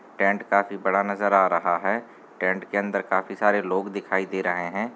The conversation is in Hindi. टेंट काफी बड़ा नज़र आ रहा है टेंट के अन्दर काफी सारे लोग दिखाई दे रहे हैं।